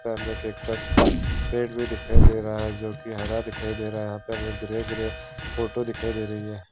Frame मे cactus का पेड़ भी दिखाई दे रहा है जो की हरा दिखाई दे रहा है गरे गरे फोटो दिखाई दे रही है।